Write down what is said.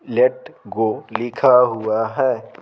Late go लिखा हुआ है।